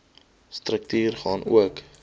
struktuur gaan ook